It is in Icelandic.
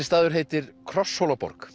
staður heitir